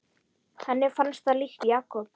Henni fannst það líkt Jakob.